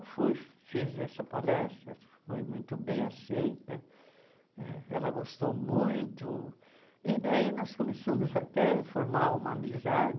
E fui fiz essa palestra, foi muito bem aceita, ela gostou muito, e daí nós começamos até a formar uma amizade,